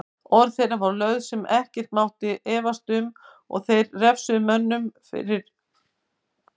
Orð þeirra voru lög sem ekki mátti efast um og þeir refsuðu börnunum fyrir misgjörðir.